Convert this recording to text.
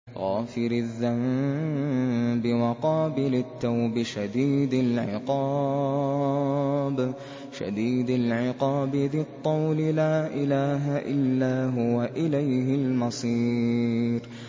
غَافِرِ الذَّنبِ وَقَابِلِ التَّوْبِ شَدِيدِ الْعِقَابِ ذِي الطَّوْلِ ۖ لَا إِلَٰهَ إِلَّا هُوَ ۖ إِلَيْهِ الْمَصِيرُ